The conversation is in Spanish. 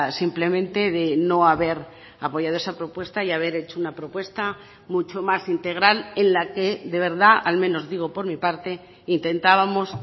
simplemente de no haber apoyado esa propuesta y haber hecho una propuesta mucho más integral en la que de verdad al menos digo por mi parte intentábamos